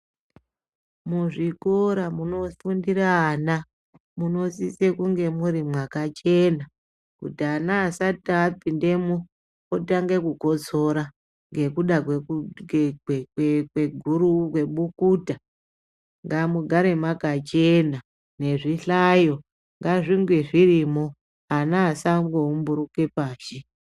Muzvikora munofundira ana, munosise kunge muri mwakachena, kuti ana asati apindemwo, otange kukotsora, ngekuda kweku kwekwekweguru kwebukuta. Ngamugare mwakachena, nezvihlayo, ngazvinge zvirimwo. Ana asangoumburuke pashi.